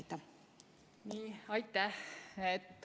Aitäh!